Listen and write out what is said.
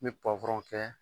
N be kɛ